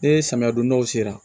Ni samiya dondaw sera